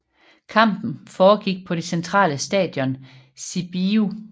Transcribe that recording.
Kampen foregik på det centrale stadion Sibiu